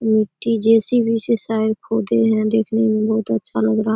मिट्टी जे.सी.बी. से शायद खोदे है देखने में बहुत अच्छा लग रहा --